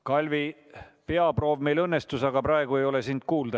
Kalvi, peaproov meil õnnestus, aga praegu ei ole sind kuulda.